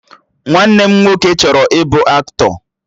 Nwanne m nwoke chọrọ ịbụ aktọ